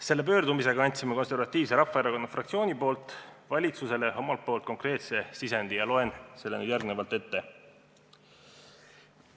Selle pöördumisega andis Eesti Konservatiivse Rahvaerakonna fraktsioon valitsusele konkreetse sisendi ja loen selle nüüd ette.